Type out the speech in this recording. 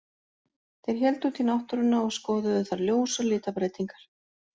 Þeir héldu út í náttúruna og skoðuðu þar ljós og litabreytingar.